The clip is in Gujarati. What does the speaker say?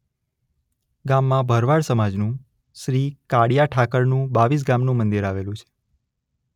ગામમાં ભરવાડ સમાજનું શ્રી કાળીયા ઠાકરનું બાવીસગામનું મંદિર આવેલું છે.